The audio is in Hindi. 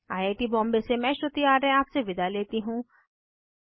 आई आई टी बॉम्बे से मैं श्रुति आर्य आपसे विदा लेती हूँ